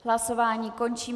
Hlasování končím.